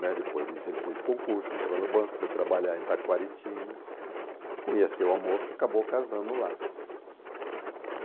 né. Depois disso, ele fez concurso, entrou no banco, foi trabalhar em Itacoaritinga, conheceu a moça e acabou casando lá.